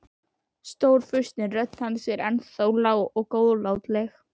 Stórfurstinn, rödd hans er ennþá lág og góðlátleg.